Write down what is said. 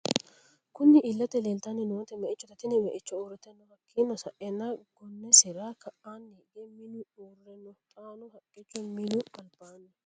Kunni illete leelitanni nooti me'ichote Tini me'icho uurite no hakiino sa'eena gonnesira ka'aani higge minu uure no xaano haqqicho minu alibaanni.